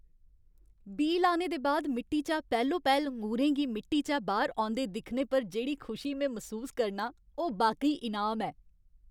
बीऽ लाने दे बाद मिट्टी चा पैह्लो पैह्ल ङूरें गी मिट्टी चा बाह्र औंदे दिक्खने पर जेह्ड़ी खुशी में मसूस करनां ओह् बाकई इनाम ऐ।